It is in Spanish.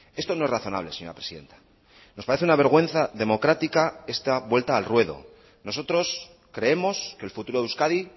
esto no es razonable señora presidenta nos parece una vergüenza democrática esta vuelta al ruedo nosotros creemos que el futuro de euskadi